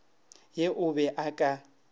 ye o be o ka